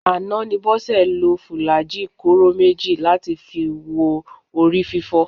Àná ni Bọ́sẹ̀ lo fùlàájì kóró méjì láti fi wo orí fífọ́